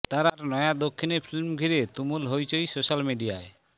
তাঁর নয়া দক্ষিণী ফিল্ম ঘিরে তুমুল হৈচৈ সোশ্যাল মিডিয়ায়